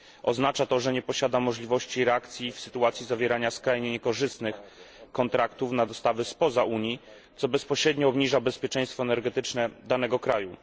Oznacza to, że nie posiada możliwości reakcji w sytuacji zawierania skrajnie niekorzystnych kontraktów na dostawy spoza Unii, co bezpośrednio obniża bezpieczeństwo energetyczne danego kraju.